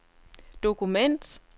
dokument